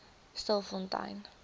stilfontein